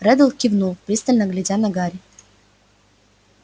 реддл кивнул пристально глядя на гарри